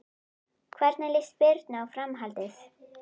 Hvernig líst Birnu á framhaldið?